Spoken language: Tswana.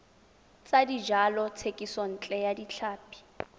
tsa dijalo thekisontle ya tlhapi